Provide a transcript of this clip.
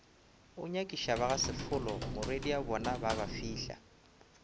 go nyakišabagasefolo morwediabona ba babafihla